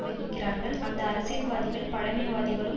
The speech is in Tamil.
வகிக்கிறார்கள்அந்த அரசியல்வாதிகள் பழமைவாதிகளும்